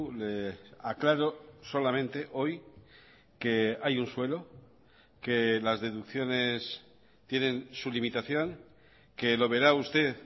le aclaro solamente hoy que hay un suelo que las deducciones tienen su limitación que lo verá usted